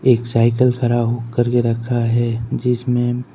एक साइकल खरा हो करके रखा है जिसमें--